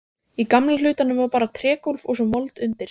Í gamla hlutanum var bara trégólf og svo mold undir.